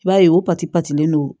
I b'a ye o patilen don